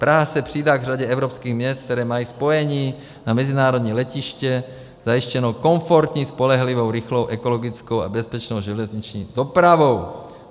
Praha se přidá k řadě evropských měst, která mají spojení na mezinárodní letiště zajištěno komfortní, spolehlivou, rychlou, ekologickou a bezpečnou železniční dopravou.